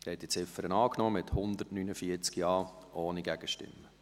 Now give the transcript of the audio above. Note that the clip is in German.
Sie haben diese Ziffer angenommen, mit 149 JaStimmen ohne Gegenstimmen.